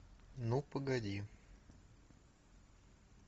ну погоди